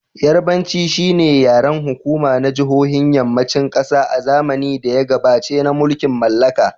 Yarbanci shi ne yaren hukuma na jihohin Yammacin kasa a zamanin da ya gabaci na mulkin mallaka.